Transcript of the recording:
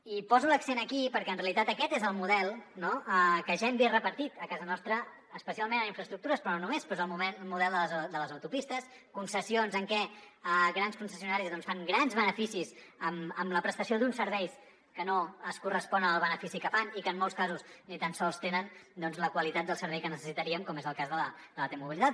i poso l’accent aquí perquè en realitat aquest és el model no que ja hem vist repartit a casa nostra especialment en infraestructures però no només però és el model de les autopistes concessions en què grans concessionaris fan grans beneficis amb la prestació d’uns serveis que no es correspon amb el benefici que fan i que en molts casos ni tan sols tenen doncs la qualitat del servei que necessitaríem com és el cas de la t mobilitat